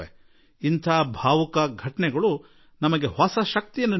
ಇಂತಹ ಭಾವುಕ ಘಟನೆಗಳು ಹೊಸ ಹೊಸ ಚೈತನ್ಯವನ್ನೂ ನೀಡುತ್ತವೆ